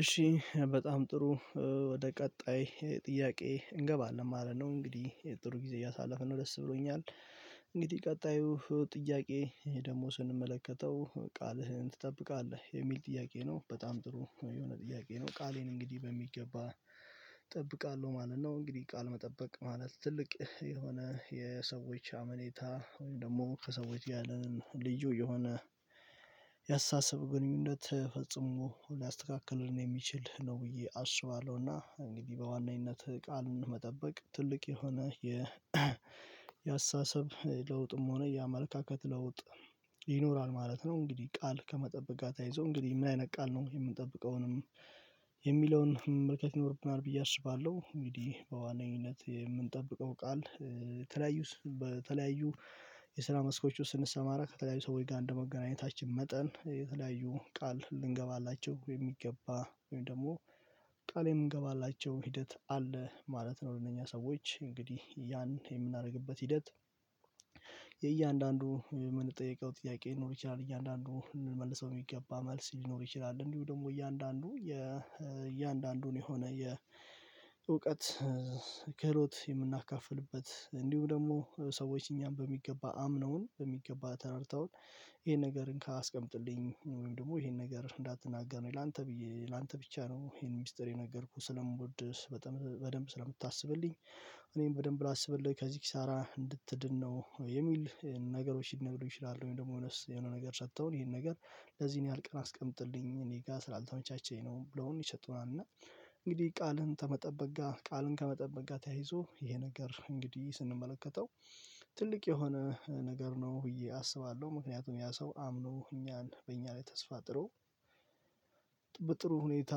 እሺ በጣም ጥሩ ወደ ቀጣይ ጥያቄ እንገባለን ማለት ነው እንግዲህ ጥሩ ጊዜ እያሳለፍን ነው ደስ ብሎኛል። እንግዲህ ቀጣዩ ጥያቄ ይሄ ደግሞ ስንመለከተው ቃልህን ትጠብቃለህ የሚል ጥያቄ ነው በጣም ጥሩ የሆነ ጥያቄ ነው። ቃሌን እንግዲህ በሚገባ እጠብቃለሁ ማለት ነው። እንግዲህ ቃል መጠበቅ ማለት ትልቅ የሆነ የሰዎች አመኔታ ወይም ደግሞ ከሰዎች ያለንን ልዩ የሆነ ያአስተሳሳብ ግንኙነት ፍጹም ሊያስተካክለውን የሚችል ነው። ብዬ አስባለሁና እንግዲህ በዋናኝነት ቃል መጠበቅ ትልቅ የሆነ የ የአስተሳሰብ ለውጥም ሆነ የአመለካከት ለውጥ ይኖራል ማለት ነው። እንግዲህ ቃል ከመጠበቅ ጋር ተያይዞ እንግዲህ ምን አይነት ቃል ነው የምንጠብቀው ወይንም የሚለውን መመልካት ይኖርብናል ብዬ አስባለሁ። እንግዲህ በዋናኝነት የምንጠብቀው ቃል ተለያዩ በተለያዩ የስራ መስኮች ውስጥ ስንሰማራ ከተለያዩ ሰዎች ጋር እንደመገናኘታችን መጠን የተለያዩ ቃል ልንገባላችሁ የሚገባ ወይ ደግሞ ቃሌ የምንገባላቸው ሂደት አለ ማለት ነው። ለእነኛ ሰዎች እንግዲህ ያን የምናደርግበት ሂደት የእያንዳንዱ የምንጠየቀው ጥያቄ ልኖር ይችላል እያንዳንዱ ምንመልሰው ሚገባ መልስ ሊኖር ይችላል እንዲሁ ደግሞ እያንዳንዱ የ እያንዳንዱን የሆነ የእውቀት ክህሎት የምናካፍልበት እንዲሁም ደግሞ ሰዎች እኛን በሚገባ አምነውን በሚገባ ተራድተውን። ይሄን ነገር እንካ አስቀምጥልኝ ወይም ደግሞ ይሄን ነገር እንዳትናገር ነው ላንተ ብዬ ላንተ ብቻ ነው ይሄን ሚስጥር የነገርኩህ ስለምወድ በጣም በደንብ ስለምታስብልኝ እኔም በደንብ ላስብልህ ከዚህ ኪሳራ እንድትድን ነው የሚል ነገሮች ሊነግሩኝ ይችላሉ። ወይም ደግሞ የሆነ ነገር ሰጥተውን ይሄን ነገር ለዚህን ያህል ቀን አስቀምጥልኝ እኔ ጋር ስላልተመቻቸኝ ነው ብለውን ይሰጡናል። እና እንግዲህ ቃልን ተመጠበቅ ጋር ቃልን ከመጠበቅ ጋር ተያይዞ ይሄ ነገር እንግዲህ ስንመለከተው ትልቅ የሆነ ነገር ነው ብዬ አስባለሁ። ምክንያቱም ያ ሰው አምኖ እኛን በእኛ ላይ ተስፋ ጥሎ በጥሩ ሁኔታ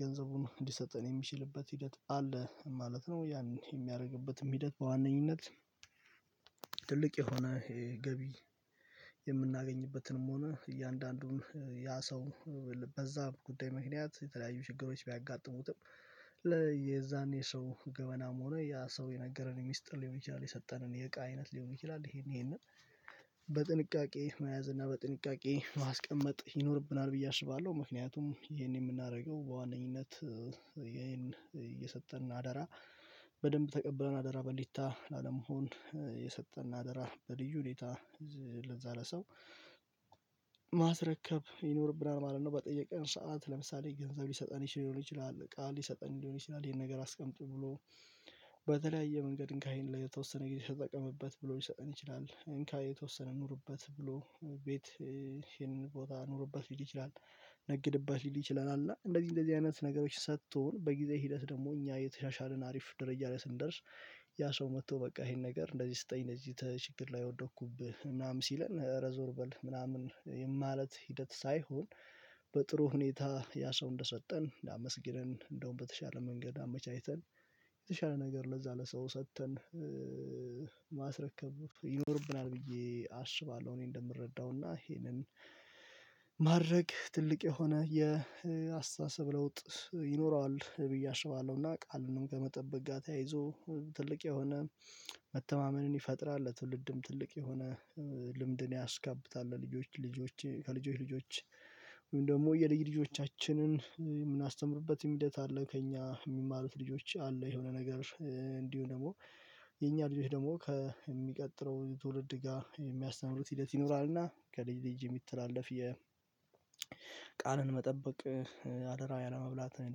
ገንዘቡን እንዲሰጠን የሚችልበት ሂደት አለ ማለት ነው። ያን የሚያደርግበትም ሂደት በዋነኝነት የሆነ ገቢ የምናገኝበትንም ሆነ እያንዳንዱን ያ ሰው በዚያ ጉዳይ ምክንያት የተለያዩ ችግሮች ቢያጋጥሙትም ለየዛኔ ሰው ገመናም ሆኖ ያ ሰው የነገረን ሚስጥር ሊሆን ይችላል የሰጠንን የእቃ አይነት ሊሆን ይችላል ይሄንን ይሄንን በጥንቃቄ መያዝ እና በጥንቃቄ ማስቀመጥ ይኖርብናል ብዬ አስባለሁ። ምክንያቱም ይሄን የምናደርገው በዋነኝነት ይሄን እየሰጠን አደራ በደንብ ተቀብለን አደራ በሊታ ላለመሆን የሰጠን አደራ በልዩ ሁኔታ ለዚያ ለሰው ማስረከብ ይኖርብናል ማለት ነው። በጠየቀን ሰዓት ለምሳሌ ገንዘብ ሊሰጠን ይችላል እቃ ሊሰጠን ሊሆን ይችላል ይሄን ነገር አስቀምጡ ብሎ በተለያየ መንገድ እንካ ይሄን ላተወሰነ ጊዜ ተጠቀምበት ብሎ ልሰጠን ይችላል እንካ የተወሰነ ኑርበት ብሎ ቤት ይሄንን ቦታ ኑርበት ሊል ይችላል። ነግድበት ሊል ይችለል አለዓ እንደዚህ እንደዚህ አይነት ነገሮች ሰጥቶን በጊዜ ሂደት ደግሞ እኛ የተሻሻልን አሪፍ ደረጃ ስንደርስ ያ ሰው መጥቶ በቃ ይሄን ነገር እንደዚህ ስጠኝ እንደዚህ ችግር ላይ ወደኩብህ ምናምን ሲለን እረ ዞር በል ምናምን ማለት ሂደት ሳይሆን። በጥሩ ሁኔታ ያ ሰው እንደሰጠን አመሰግነን እንደውም በተሻለ መንገድ አመቻችተን የተሻለ ነገር ለዛ ለሰው ሰጥተን ማስረከብ ይኖርብናል ብዬ አስባለሁ። እኔ እንደምረዳውና ይሄንን ማድረግ ትልቅ የሆነ የአስተሳሰብ ለውጥ ይኖረዋል ብዬ አስባለሁና። ቃልንም ከመጠበቅ ጋር ተያይዞ ትልቅ የሆነ መተማመንን ይፈጥራል ለትውልድም ትልቅ የሆነ ልምድን ያስከብታል። ለልጆች ልጆቼ ከልጆች ልጆች ወይም ደግሞ የልጅ ልጆቻችንን የምናስተምርበትም ሂደት አለ። ከእኛ የሚማሩት ልጆች አሉ የሆነ ነገር እንዲሁ ደግሞ የኛ ልጆች ደግሞ ከሚቀጥለው ትውልድ ጋር የሚያስተምሩት ሂደት ይኖራልና። ከልጅ ልጅ የሚተላለፍ የቃልን መጠበቅ አደራ ያለመብላት ወይም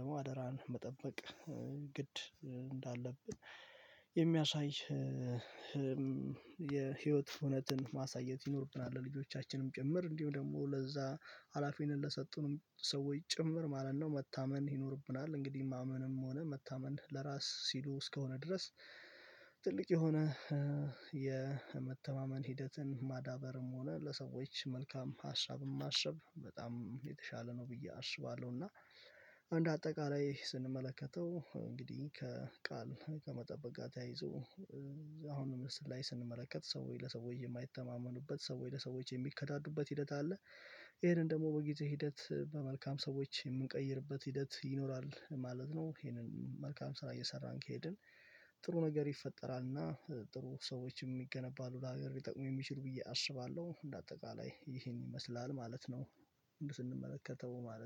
ደግሞ አደራን መጠበቅ ግድ እንዳለብን የሚያሳይ የህይወት እውነትን ማሳየት ይኖርብናል ለልጆቻችንም ጭምር እንዲሁ ደግሞ ለዛ ሀላፊን ለሰጡንም ሰዎች ጭምር ማለት ነው። መታማን ይኖርብናል እንግዲህ ማመንም ሆነ መታመን ለራስ ሲሉ እስከሆነ ድረስ ትልቅ የሆነ የመተማመን ሂደትን ማዳበርም ሆነ ለሰዎች መልካም ሀሳብም ማሰብ በጣም የተሻለ ነው ብዬ አስባለሁ። እና እንደ አጠቃላይ ስንመለከተው እንግዲህ ከቃል ከመጠበቅ ጋር ተያይዞ ላይ ስንመለከት ሰዎች ለሰዎች የማይተማመኑበት ሰዎች ለሰዎች ሰዎች የሚከዳዱበት ሂደት አለ። ይሄንን ደግሞ በጊዜ ሂደት በመልካም ሰዎች የምንቀይርበት ሂደት ይኖራል ማለት ነው። ይሄንን መልካም ስራ እየሰራን ከሄድን ጥሩ ነገር ይፈጠራል። እና ጥሩ ሰዎችም ይገነባሉ ለሀገር ሊጠቅሙ የሚችሉ ብዬ አስባለሁ። እንደ አጠቃላይ ይሄን ይመስላል ማለት ነው። ስንመለከተው ማለት